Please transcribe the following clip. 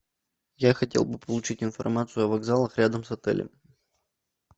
я хотел бы получить информацию о вокзалах рядом с отелем